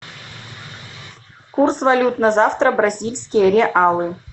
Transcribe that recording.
курс валют на завтра бразильские реалы